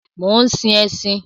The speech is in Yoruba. Mò ń sin ẹṣin